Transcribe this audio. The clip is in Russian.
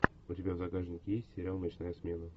у тебя в загашнике есть сериал ночная смена